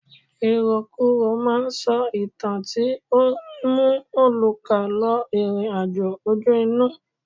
Ìròkurò ma ń sọ ìtàn tí ó ń mú olùkà lọ ìrìn àjò ojú inú.